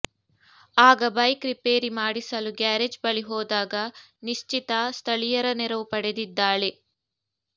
ಆಗ bike repair ಮಾಡಿಸಲು garage ಬಳಿ ಹೋದಾಗ ನಿಶ್ಚಿತಾ ಸ್ಥಳೀಯರ ನೆರವು ಪಡೆದಿದ್ದಾಳೆ